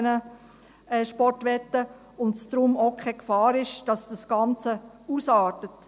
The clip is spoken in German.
Daher besteht auch keine Gefahr, dass das Ganze ausartet.